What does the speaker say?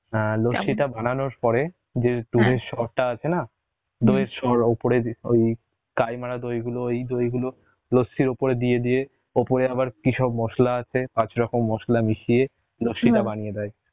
অ্যাঁ লস্যিটা বানানোর পরে যে দুধের সর টা আছে না দই এর সর ওপরে যে ওই, কাই মারা দই গুলো ওই দই গুলো, লস্যির ওপরে দিয়ে দিয়ে, ওপরে আবার কিসব মশলা আছে, পাঁচ রকম মশলা মিশিয়ে লস্যিটা বানিয়ে দেয়